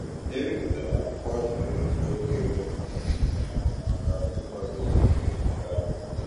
E bipụtara m akwụkwọ ajụjụ nke oge gara aga iji nyere nwa m aka n'ịkwado oge ezumike ahụ.